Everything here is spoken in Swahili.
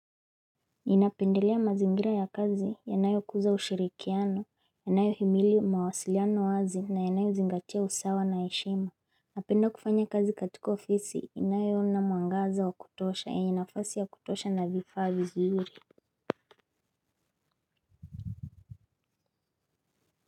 Ninapendelea mazingira ya kazi, yanayokuza ushirikiano, yanayohimili mawasiliano wazi na yanayo zingatia usawa na heshima. Napenda kufanya kazi katika ofisi, inayo na mwangaza wa kutosha, yenye nafasi ya kutosha na vifaa vizuri.